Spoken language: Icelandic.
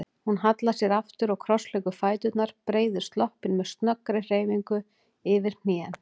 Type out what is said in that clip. Hún hallar sér aftur og krossleggur fæturna, breiðir sloppinn með snöggri hreyfingu yfir hnén.